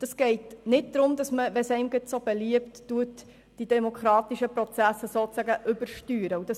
Es geht nicht darum, dass man die demokratischen Prozesse sozusagen übersteuert, wenn man es gerade möchte.